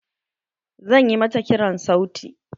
Zan ƴi mata kiran sauti.